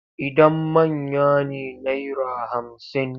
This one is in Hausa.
Idan manya ne naira hamsin.